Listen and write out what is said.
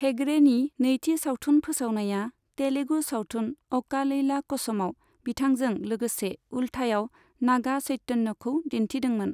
हेगड़ेनि नैथि सावथुन फोसावनाया, तेलुगु सावथुन अ'का लैला क'समाव बिथांजों लोगोसे उल्थायाव नागा चैतन्यखौ दिन्थिदोंमोन।